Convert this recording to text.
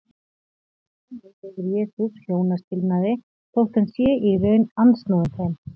Þannig leyfir Jesús hjónaskilnaði þótt hann sé í raun andsnúinn þeim.